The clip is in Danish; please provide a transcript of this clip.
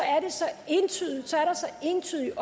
entydigt at